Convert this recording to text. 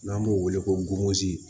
N'an b'o wele ko golozi